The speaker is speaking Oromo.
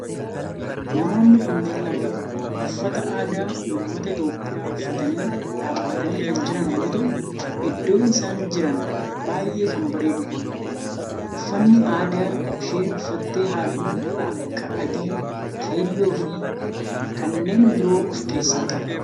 Namoonni kunneen lamaan uffata aadaa ummata Itiyoophiyaa uffatanii dhaabbatanii kan jiran yoo ta'u iddoon isaan jiran baayyee kan bareedudha. Uffanni aadaa isheen uffatte halluu akka adii, keelloo fi kanneen biroo of keessaa qaba.